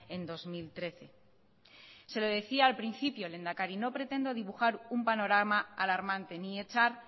en dos mil trece se lo decía al principio lehendakari no pretendo dibujar un panorama alarmante ni echar